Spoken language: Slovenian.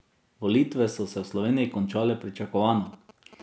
Volitve so se v Sloveniji končale pričakovano.